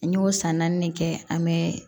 N y'o san naani de kɛ an bɛ